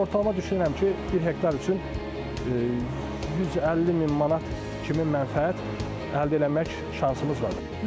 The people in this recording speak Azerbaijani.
Amma ortalama düşünürəm ki, bir hektar üçün 150 min manat kimi mənfəət əldə eləmək şansımız var.